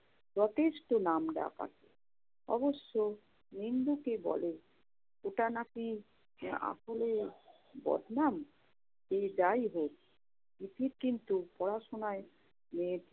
যথেষ্ট নামডাক আছে। অবশ্য নিন্দুকে বলে, এটা নাকি আসলে বদনাম। সে যাইহোক প্রীতি কিন্তু পড়াশোনায় উম